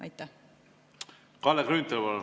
Kalle Grünthal, palun!